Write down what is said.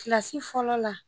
fɔlɔ la